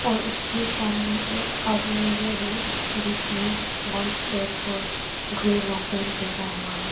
और उसके सामने एक आदमी भी है जिसने व्हाइट शर्ट और ग्रे लांग पैंट पहना हुआ है।